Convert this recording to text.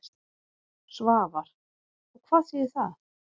Svavar: Og hvað þýðir það?